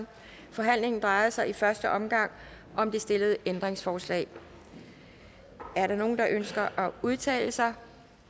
forhandlingen drejer sig i første omgang om det stillede ændringsforslag er der nogen der ønsker at udtale sig